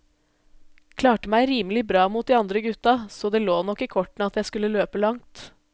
Klarte meg rimelig bra mot de andre gutta, så det lå nok i kortene at jeg skulle løpe langt.